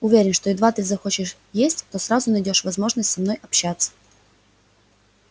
уверен что едва ты захочешь есть то сразу найдёшь возможность со мной общаться